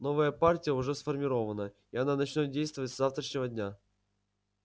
новая партия уже сформирована и она начнёт действовать с завтрашнего дня